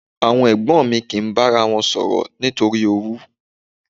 Àwọn ẹ̀gbọ́n mi kì í bára wọn sọ̀rọ̀ nítorí owú.